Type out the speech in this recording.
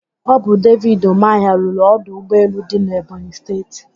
Ọ bụ David Ụmahị rụrụ ọdụ ụgbọelu dị n'Ebonyị Steeti.